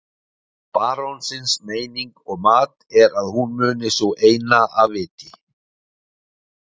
Barónsins meining og mat er að hún muni sú eina af viti.